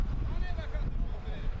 Hara baxırsan?